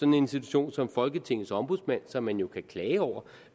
en institution som folketingets ombudsmand som man jo kan klage over